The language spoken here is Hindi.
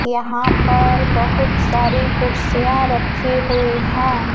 यहां पर बहुत सारी कुर्सियां रखी हुई हैं।